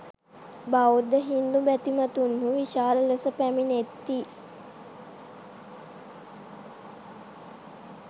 බෞද්ධ හින්දු බැතිමත්හු විශාල ලෙස පැමිණේති.